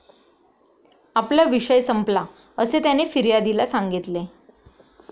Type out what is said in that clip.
आपला विषय संपला, असे त्याने फिर्यादीला सांगितले.